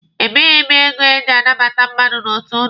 Ebighị m ego eji anabata mmadụ n'otu ụnụ.